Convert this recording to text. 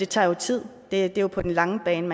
tager tid det er jo på den lange bane